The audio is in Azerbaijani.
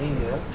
Eynilə?